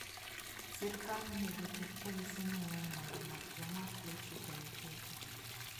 Sirkal onego oket polise mang'eny mondo omak joma ok luw chike moketi.